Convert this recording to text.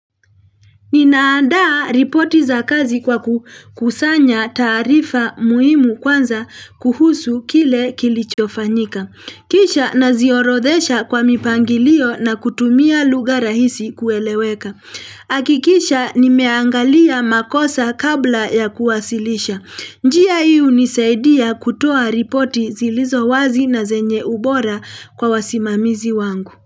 Ninaanda ripoti za kazi kwa kukusanya taarifa muhimu kwanza kuhusu kile kilichofanyika. Kisha naziorodhesha kwa mipangilio na kutumia lugha rahisi kueleweka. Hakikisha nimeangalia makosa kabla ya kuwasilisha. Njia hii hunisaidia kutoa ripoti zilizo wazi na zenye ubora kwa wasimamizi wangu.